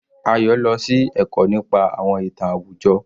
Ayo lọ sí ẹ̀kọ́ nípa àwọn ìtàn àwùjọ.